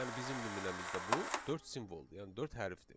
yəni bizim nümunəmizdə bu dörd simvoldu, yəni dörd hərfdir.